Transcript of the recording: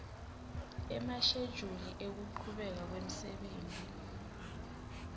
emashejuli ekuchubeka kwemsebenti